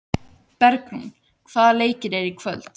Bergrún, hvaða leikir eru í kvöld?